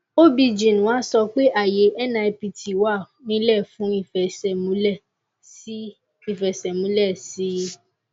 obgyn wa sọ pé ààyè nipt wà ńílẹ̀ fún ìfẹsẹ̀múlẹ̀ sí i ìfẹsẹ̀múlẹ̀ sí i